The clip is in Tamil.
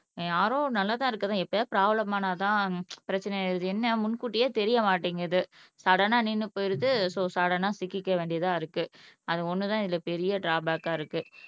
RO நல்லா தான் இருக்குது அதான் எப்பயாவது பிராப்ளம் ஆனா தான் பிரச்சனை ஆயிடுது என்ன முன்கூட்டியே தெரிய மாட்டேங்குது சடனா நின்னு போயிடுது சோ சடனா சிக்கிக்க வேண்டியதா இருக்கு அது ஒன்னு தான் இதுல பெரிய ட்ராபேக்கா இருக்கு